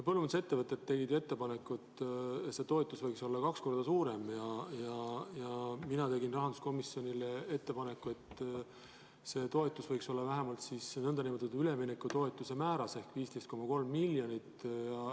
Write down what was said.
Põllumajandusettevõtted tegid ettepaneku, et see toetus võiks olla kaks korda suurem, ja mina tegin rahanduskomisjonile ettepaneku, et see toetus võiks olla vähemalt nn üleminekutoetuse määras ehk 15,3 miljonit.